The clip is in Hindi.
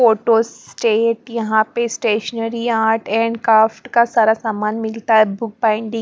फोटो स्टेट यहां पे स्टेशनरी आर्ट एंड क्राफ्ट का सारा सामान मिलता है बुक बाइंडिंग --